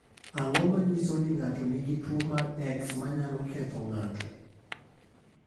Ang’o ma nyiso ni ng’ato nigi tuwo mar X ma nyalo ketho ng’ato?